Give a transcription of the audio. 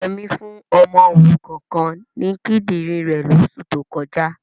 Yẹmí fún ọmọ òrukan kan ní kídìrín rẹ̀ lóṣù tó kọjá.